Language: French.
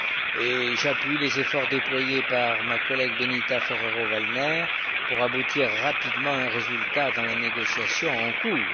Et j'appuie les efforts déployés par ma collègue Benita Ferrero Waldner pour aboutir rapidement à un résultat dans la négociation en cours.